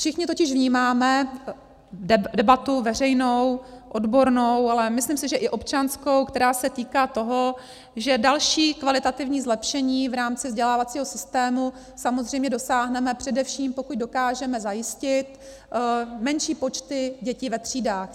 Všichni totiž vnímáme debatu veřejnou, odbornou, ale myslím si, že i občanskou, která se týká toho, že dalšího kvalitativního zlepšení v rámci vzdělávacího systému samozřejmě dosáhneme, především pokud dokážeme zajistit menší počty dětí ve třídách.